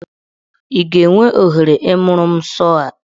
Ị ga-enwe ohere ịmụrụ mụ sọọ a?